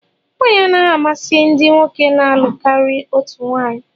Nwanyị anaghị amasị ndị nwoke na-alụ karịa otu nwanyị